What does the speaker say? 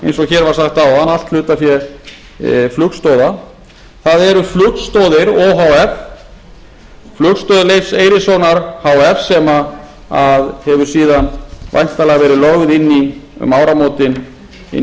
eins og hér var sagt áðan allt hlutafé flugstoða það eru flugstoðir o h f flugstöð leifs eiríkssonar h f sem hefur síðan væntanlega verið lögð inn í um áramótin inn í keflavíkurflugvöll o h